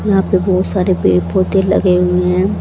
यहां पे बहुत सारे पेड़ पौधे लगे हुए हैं।